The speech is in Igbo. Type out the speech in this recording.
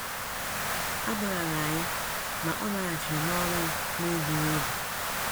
A gbaghaara ya, ma ọ laghachiri n’ọrụ ya n’egbughị oge.